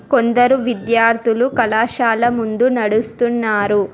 కొందరు విద్యార్థులు కళాశాల ముందు నడుస్తున్నారు.